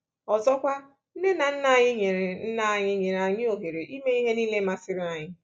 Ọzọkwa, nne na nna anyị nyere nna anyị nyere anyị ohere ime ihe nile masịrị anyị.